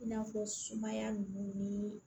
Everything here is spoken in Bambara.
I n'a fɔ sumaya ninnu ni